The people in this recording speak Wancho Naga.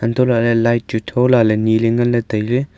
hantoh lahle light chu thola le ni le nganle taile.